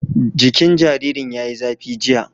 Jikin jaririn ya yi zafi, jiya